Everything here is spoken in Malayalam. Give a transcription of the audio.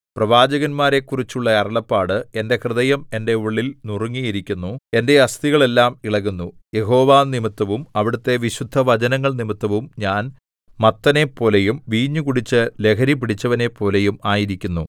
പ്രവാചകന്മാരെക്കുറിച്ചുള്ള അരുളപ്പാട് എന്റെ ഹൃദയം എന്റെ ഉള്ളിൽ നുറുങ്ങിയിരിക്കുന്നു എന്റെ അസ്ഥികൾ എല്ലാം ഇളകുന്നു യഹോവ നിമിത്തവും അവിടുത്തെ വിശുദ്ധവചനങ്ങൾ നിമിത്തവും ഞാൻ മത്തനെപ്പോലെയും വീഞ്ഞു കുടിച്ച് ലഹരിപിടിച്ചവനെപ്പോലെയും ആയിരിക്കുന്നു